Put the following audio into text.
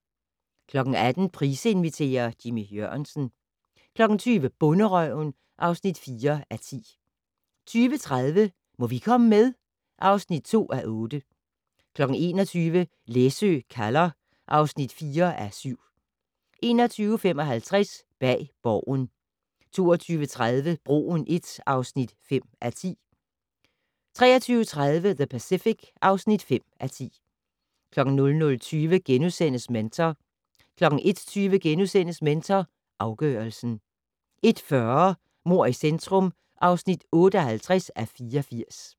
18:00: Price inviterer - Jimmy Jørgensen 20:00: Bonderøven (4:10) 20:30: Må vi komme med? (2:8) 21:00: Læsø kalder (4:7) 21:55: Bag Borgen 22:30: Broen I (5:10) 23:30: The Pacific (5:10) 00:20: Mentor * 01:20: Mentor afgørelsen * 01:40: Mord i centrum (58:84)